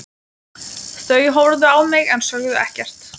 Þau horfðu á mig en sögðu ekkert.